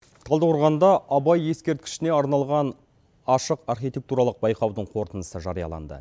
талдықорғанда абай ескерткішіне арналған ашық архитектуралық байқаудың қорытындысы жарияланды